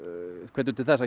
til þess að